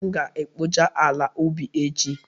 M ga-ekpocha ala ubi echi